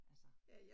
Altså